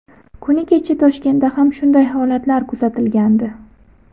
Kuni kecha Toshkentda ham shunday holatlar kuzatilgandi.